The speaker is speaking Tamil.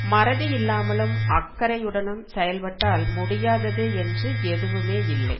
மறதியில்லாமலும் அக்கறையுடனும் செயல்பட்டால் முடியாதது என்று எதுவுமே இல்லை